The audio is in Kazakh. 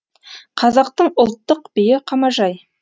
қазақтың ұлттық биі қамажай